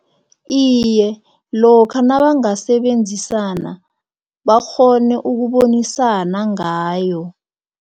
Iye, lokha nabangasebenzisana bakghone ukubonisana ngayo